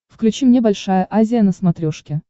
включи мне большая азия на смотрешке